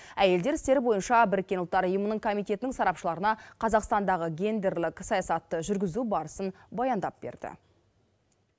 әйелдер істері бойынша біріккен ұлттар ұйымының комитетінің сарапшыларына қазақстандағы гендерлік саясатты жүргізу барысын баяндап берді